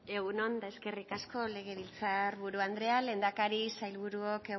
egun on eta eskerrik asko legebiltzar buru andrea lehendakari sailburuok